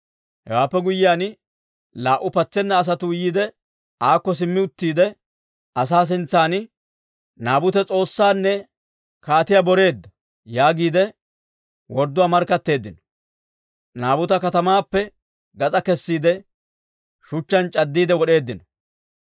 Hewaappe guyyiyaan laa"u patseena asatuu yiide, aakko simmi uttiide, asaa sintsan, «Naabute S'oossaanne kaatiyaa boreedda» yaagiide wordduwaa markkatteeddino. Naabuta katamaappe gas'aa kessiide, shuchchaan c'addiide wod'eeddino.